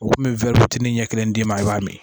U kun bɛ ɲɛ kelen d'i ma i b'a min